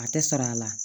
A tɛ sara la